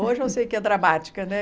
Hoje eu sei que é dramática, né?